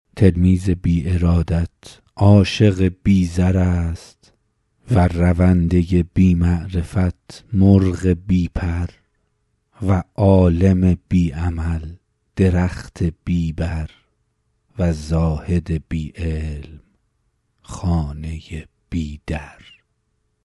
تلمیذ بی ارادت عاشق بی زر است و رونده بی معرفت مرغ بی پر و عالم بی عمل درخت بی بر و زاهد بی علم خانه بی در